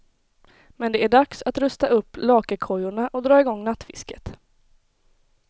Men det är dags att rusta upp lakekojorna och dra igång nattfisket.